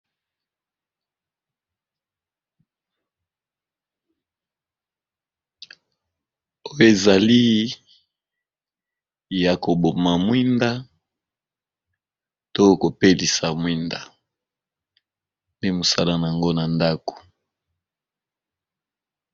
oyo ezali ya koboma mwinda to kopelisa mwinda nde mosalana yango na ndako